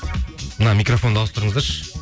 мына микрофонды ауыстырыңыздаршы